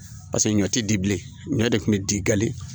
Paseke ɲɔ ti di bilen ɲɔ de kun bi di gali